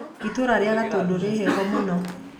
Itũũra rĩa Gatũndũ rĩ heho mũno